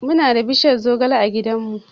Muna da bishiyar zogale a gidanmu.